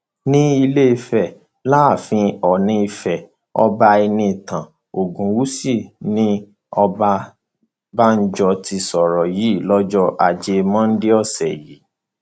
ní ilé ìfẹ láàfin oòní ìfẹ ọba ẹnìtàn ogunwúsì ní ọbabánjọ ti sọrọ yìí lọjọ ajé mondeose yìí